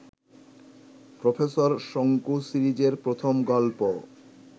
professor Shonku সিরিজের প্রথম গল্প